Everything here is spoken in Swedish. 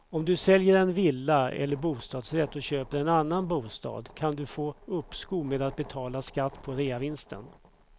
Om du säljer en villa eller bostadsrätt och köper en annan bostad kan du få uppskov med att betala skatt på reavinsten.